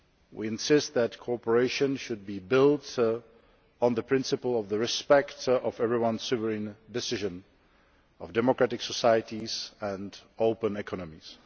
We insist that cooperation should be built on the principle of respect for everyone's sovereign decisions, and for democratic societies and open economies.